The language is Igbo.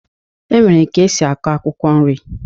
E nwere ka esi akọ akwụkwọ nri